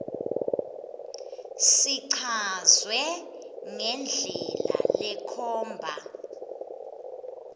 sichazwe ngendlela lekhomba